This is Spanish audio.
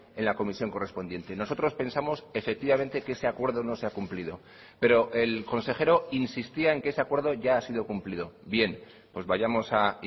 en la comisión correspondiente y nosotros pensamos efectivamente que ese acuerdo no se ha cumplido pero el consejero insistía en que ese acuerdo ya ha sido cumplido bien pues vayamos a